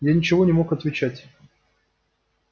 я ничего не мог отвечать